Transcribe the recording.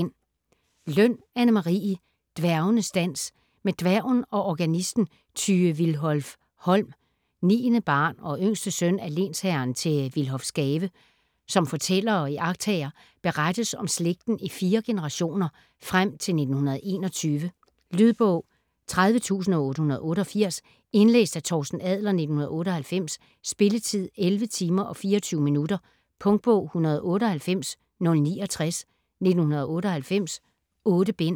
Løn, Anne Marie: Dværgenes dans Med dværgen og organisten Tyge Willhof-Holm, 9. barn og yngste søn af lensherren til Willhofsgave som fortæller og iagttager, berettes om slægten i fire generationer, frem til 1921. Lydbog 30888 Indlæst af Torsten Adler, 1998. Spilletid: 11 timer, 24 minutter. Punktbog 198069 1998. 8 bind.